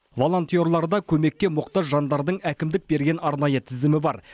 волонтерларда көмекке мұқтаж жандардың әкімдік берген арнайы тізімі бар